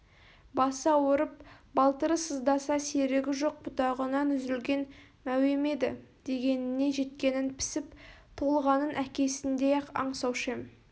басы ауырып балтыры сыздаса серігі жоқ бұтағынан үзілген мәуем еді дегеніне жеткенін пісіп толғанын әкесіндей-ақ аңсаушы ем